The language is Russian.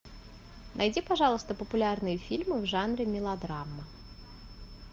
найди пожалуйста популярные фильмы в жанре мелодрама